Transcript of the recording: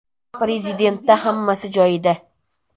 Prezidentda hammasi joyida.